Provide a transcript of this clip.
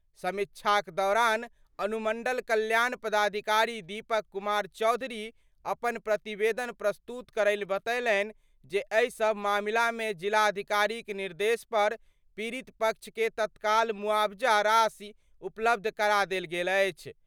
समीक्षाक दौरान अनुमंडल कल्याण पदाधिकारी दीपक कुमार चौधरी अपन प्रतिवेदन प्रस्तुत करैत बतेलनि जे एहि सभ मामिलामे जिलाधिकारीक निर्देश पर पीड़ित पक्ष के तत्काल मुआवजा राशि उपलब्ध करा देल गेल अछि।